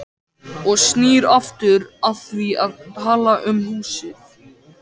Og snýr aftur að því að tala um húsið.